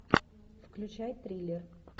включай триллер